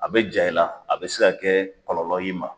A bɛ ja i la a bɛ se ka kɛ kɔlɔlɔ y'i ma.